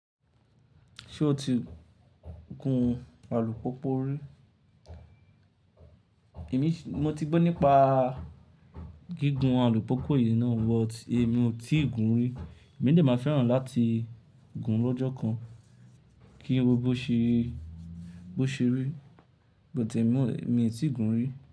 Ṣé o ti gun alùpópó rí? Mo ti gbọ́ nípa gígùn alùpópó yìí náà, but èmi ò tí ì gun rí. Èmi de màá fẹ́ràn láti gun lọ́jọ́ kan kí n wọ bó ṣe rí, but èmi ò tí ì gun rí.